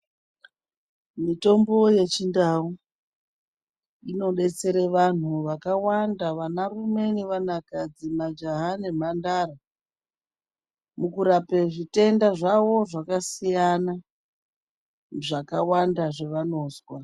Mitombo yeChindau inobatsira vanhu vakawanda vana rume nevanakadzi, majaha nemhandara, mukurape zvitenda zvawo zvakasiyana zvakawanda zvavanozwa.